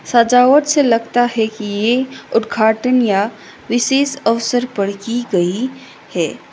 सजावट से लगता है कि ये उद्घाटन या विशेष अवसर पर की गई है।